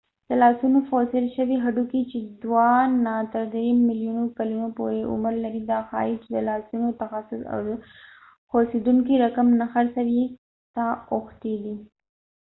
د لاسونو فوسیل شوي هډوکې چې دوه نه تر درې ملیونو کلونو پورې عمر لري دا ښایې چې د لاسونو تخصص د خوڅیدونکې رقم نه څرخوي ته اوښتی دي